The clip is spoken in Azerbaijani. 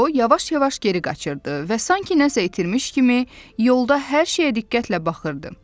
O yavaş-yavaş geri qaçırdı və sanki nəsə itirmiş kimi yolda hər şeyə diqqətlə baxırdı.